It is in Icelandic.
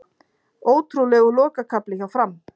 Ótrúlegur lokakafli hjá Fram